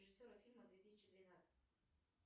режиссера фильма две тысячи двенадцать